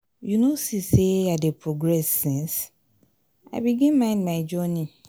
you no see sey i dey progress since i begin mind my journey?